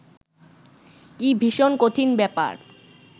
কি ভীষণ কঠিন ব্যাপার